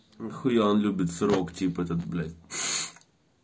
нахуя он любит срок типа этот блять